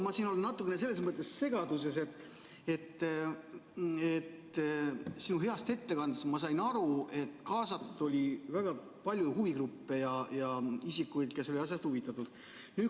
Hea Yoko, ma olen natuke selles mõttes segaduses, et sinu heast ettekandest ma sain aru, et kaasatud oli väga palju huvigruppe ja isikuid, kes on asjast huvitatud.